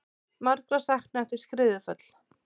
Margra saknað eftir skriðuföll